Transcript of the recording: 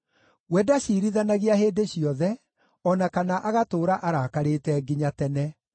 We ndaciirithanagia hĩndĩ ciothe, o na kana agatũũra arakarĩte nginya tene;